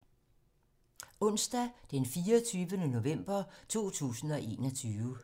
Onsdag d. 24. november 2021